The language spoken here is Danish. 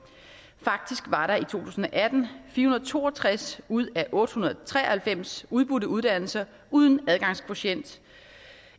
tusind og atten fire hundrede og to og tres ud af otte hundrede og tre og halvfems udbudte uddannelser uden adgangskvotient